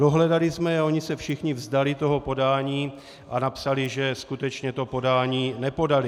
Dohledali jsme je a oni se všichni vzdali toho podání a napsali, že skutečně to podání nepodali.